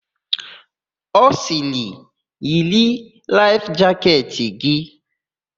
Ọ sịrị, "yiri laịf jaketị"!